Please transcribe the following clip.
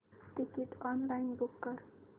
ticket online book कर